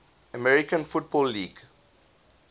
american football league